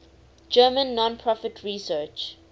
german non profit research